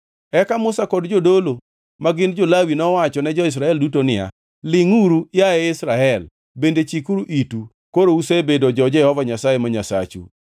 Eka Musa kod jodolo ma gin jo-Lawi nowachone jo-Israel duto niya, “Lingʼuru, yaye Israel, bende chikuru itu! Koro usebedo jo-Jehova Nyasaye ma Nyasachu.